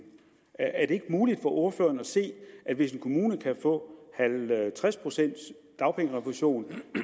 er det ikke muligt for ordføreren at se at hvis en kommune kan få halvtreds pcts dagpengerefusion